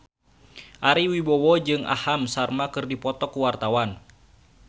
Ari Wibowo jeung Aham Sharma keur dipoto ku wartawan